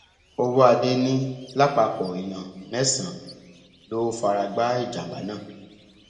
ọwọadé ní lápapọ èèyàn mẹsànán ló fara gbá ìjàmbá náà